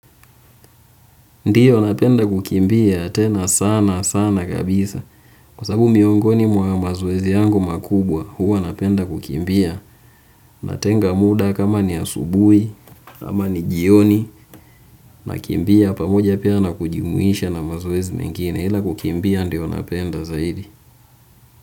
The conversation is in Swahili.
Ndiyo napenda kukimbia tena sana sana kabisa kwa sababu miongoni mwa mazoezi yangu makubwa huwa napenda kukimbia. Natenga muda kama ni asubuhi kama ni jioni. Nakimbia pamoja pia na kujumuisha na mazoezi mengine ila kukimbia ndio napenda zaidi.